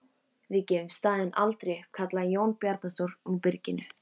Við gefum staðinn aldrei upp, kallaði Jón Bjarnason úr byrginu.